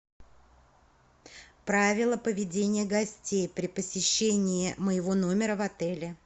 правила поведения гостей при посещении моего номера в отеле